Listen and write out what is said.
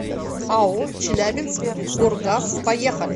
ао челябинскгоргаз поехали